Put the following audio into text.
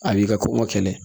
A b'i ka ko ka kɛlɛ